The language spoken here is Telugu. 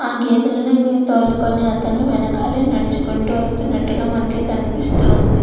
ఆ గేదలను తోలుకొని అతను వెనకాలే నడుచుకుంటూ వస్తున్నట్టుగా మనకు కనిపిస్తూ ఉంది.